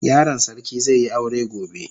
Yaron sarki zai yi aure gobe.